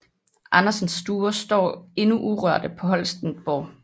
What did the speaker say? Andersens stuer står endnu urørte på Holsteinborg